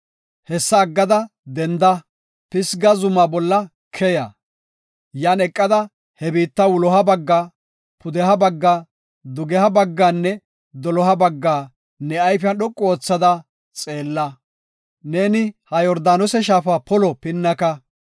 Hessa aggada denda; Pisga zuma bolla keya; yan eqada he biitta wuloha bagga, pudeha bagga, dugeha bagganne doloha bagga ne ayfiya dhoqu oothada xeella. Neeni ha Yordaanose shaafa polo pinnaka.